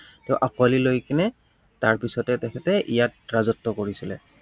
ত আকোঁৱলি লৈ কিনে তাৰপিছতে তেখেতে ইয়াত ৰাজত্ব কৰিছিলে।